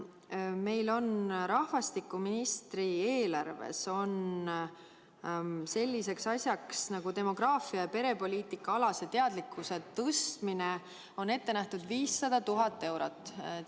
Meil on rahvastikuministri eelarves selliseks asjaks nagu demograafia- ja perepoliitikaalase teadlikkuse tõstmine ette nähtud 500 000 eurot.